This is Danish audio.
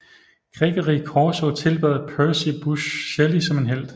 Gregory Corso tilbad Percy Busshe Shelley som en helt